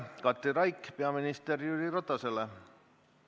Katri Raik esitab küsimuse peaminister Jüri Ratasele.